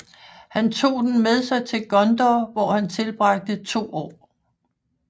Han tog den med sig til Gondor hvor han tilbragte to år